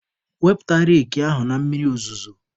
Wepụta reki ahụ na mmiri ozuzo!.